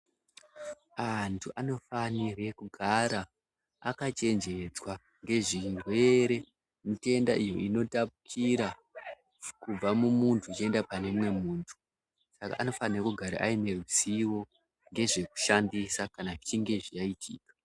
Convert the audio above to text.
Anhu anofanire kugara akachenjedzwa ngezvirwere, mitenda iyo inotapukira kubva mumuntu ichienda pane umwe muntu. Saka anofanire kugara aine zivo ngezvekushandisa kana zvichinge zvaitika.